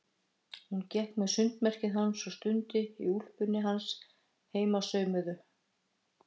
Hún gekk með sundmerkið hans og stundum í úlpunni hans heimasaumuðu.